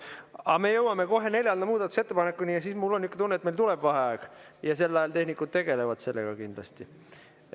Aga me jõuame kohe neljanda muudatusettepanekuni ja mul on tunne, et meil tuleb vaheaeg ja sel ajal tehnikud tegelevad sellega kindlasti.